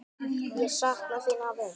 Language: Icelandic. Ég sakna þín, afi.